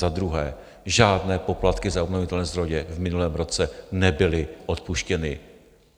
Za druhé, žádné poplatky za obnovitelné zdroje v minulém roce nebyly odpuštěny.